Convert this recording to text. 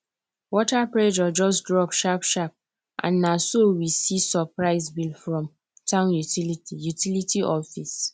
water pressure just drop sharp sharp and na so we see surprise bill from town utility utility office